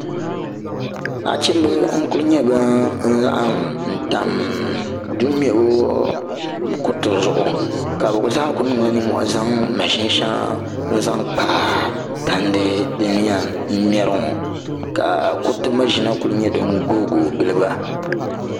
nachimbi n ku nyɛ bin laɣam tam duu mɛbu kuriti zuɣu ka bi zaa ku niŋla nimmohi n zaŋ maʒini shɛŋa n zaŋ kpa tandi din yɛn mɛri ŋo ka kuriti maʒina ku nyɛ din guui guui giliba